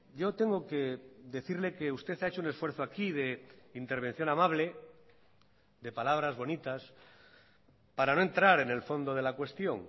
yo tengo que decirle que usted ha hecho un esfuerzo aquí de intervención amable de palabras bonitas para no entrar en el fondo de la cuestión